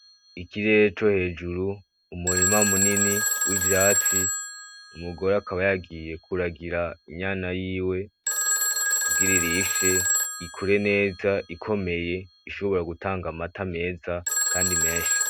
Ikirere co hejuru, umurima munini wivyatsi umugore akaba yagiye kuragira inyana yiwe kugira irishe ikure neza ikomeye , ishobora gutanga amata meza Kandi menshi .